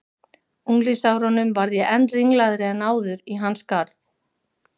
unglingsárunum varð ég enn ringlaðri en áður í hans garð.